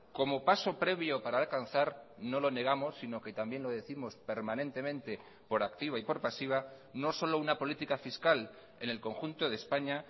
como paso previo para alcanzar no lo negamos sino que también lo décimos permanentemente por activa y por pasiva no solo una política fiscal en el conjunto de españa